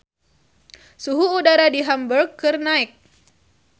Suhu udara di Hamburg keur naek